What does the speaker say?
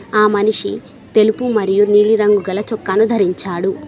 ఆ మనిషి తెలుపు మరియు నీలిరంగు గల చొక్కాను దరించాడు.